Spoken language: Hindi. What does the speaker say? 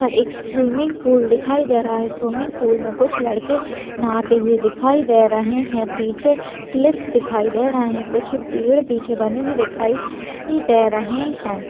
यहाँ पर एक स्विंगपुल दिखाई दे रहा है स्विंगपुल में कुछ लड़के नहाते हुए दिखाई दे रहे हैं पीछे सिलिपस दिखाई दे रहे हैं कुछ पेड़ पीछे बने हुए दिखाई दे रहे है।